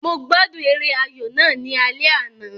Mo gbádùn eré ayò náà ní alẹ́ àná